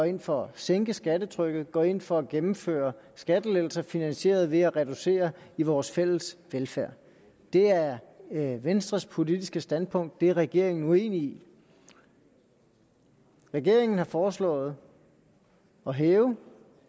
ind for at sænke skattetrykket og går ind for at gennemføre skattelettelser finansieret ved at reducere vores fælles velfærd det er venstres politiske standpunkt det er regeringen uenig i regeringen har foreslået at hæve